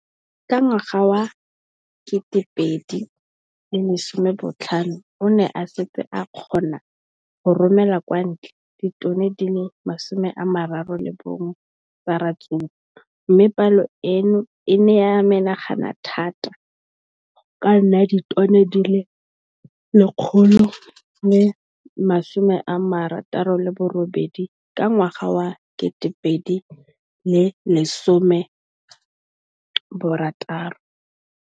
Ka ngwaga wa 2015, o ne a setse a kgona go romela kwa ntle ditone di le 31 tsa ratsuru mme palo eno e ne ya menagana thata go ka nna ditone di le 168 ka ngwaga wa 2016.